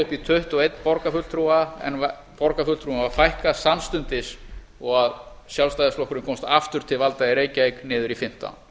í tuttugu og eins borgarfulltrúa en borgarfulltrúum var fækkað samstundis og sjálfstæðisflokkurinn komst aftur til valda í reykjavík niður í fimmtán